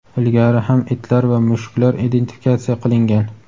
Ilgari ham itlar va mushuklar identifikatsiya qilingan.